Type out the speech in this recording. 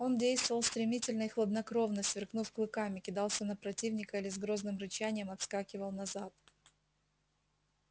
он действовал стремительно и хладнокровно сверкнув клыками кидался на противника или с грозным рычанием отскакивал назад